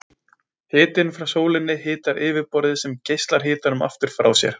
Hitinn frá sólinni hitar yfirborðið sem geislar hitanum aftur frá sér.